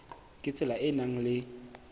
ka tsela e nang le